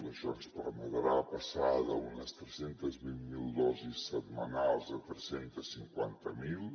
això ens permetrà passar d’unes tres cents i vint miler dosis setmanals a tres cents i cinquanta miler